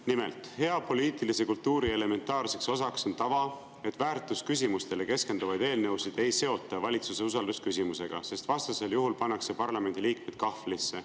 Nimelt, hea poliitilise kultuuri elementaarne osa on tava, et väärtusküsimustele keskenduvaid eelnõusid ei seota valitsuse usaldusküsimusega, sest vastasel juhul pannakse parlamendiliikmed kahvlisse.